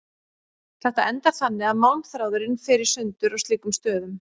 Þetta endar þannig að málmþráðurinn fer í sundur á slíkum stöðum.